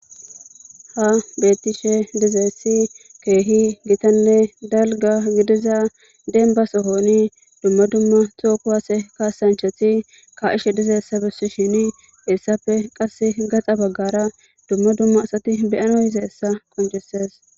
Tas bethishe dizaytti kehi githane dalgga gidida demba sohoni dumma dumma toho kuwasse kassanchathi ka'she dizzayssa besisheni heyssappe gaxa baggara dumma dumma assathi bea'nawu yizaysa qoncisess.